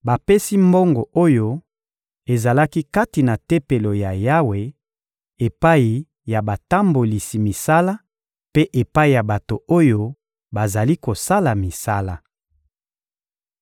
Bapesi mbongo oyo ezalaki kati na Tempelo ya Yawe epai ya batambolisi misala mpe epai ya bato oyo bazali kosala misala.